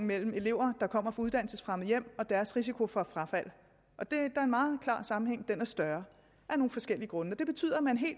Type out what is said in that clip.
mellem elever der kommer fra uddannelsesfremmede hjem og deres risiko for frafald og der er en meget klar sammenhæng det er større af nogle forskellige grunde det betyder at man